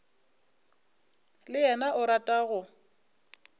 le yena o rata go